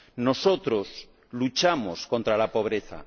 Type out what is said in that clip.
Nosotros luchamos contra la pobreza.